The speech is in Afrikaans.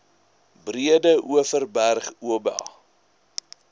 breede overberg oba